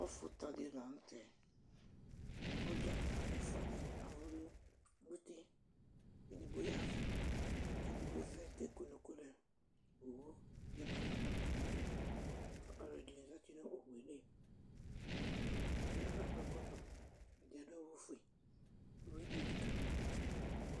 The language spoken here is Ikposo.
ɔfʊta dɩ lanʊtɛ, kʊ dzăta ɛfua dɩ edigbo y'ɛvʊ, kʊ edigbo vlɛ kʊ eke unuku lɛ, owu dɩ atɔ nʊ atamidu, kʊ alʊɛdɩnɩ zati nʊ owu yɛ li, alʊwanɩ ɛdɩ akɔ ɛkɔtɔ ɛdɩ adʊ awufue, uwi dɩ elikalimadʊ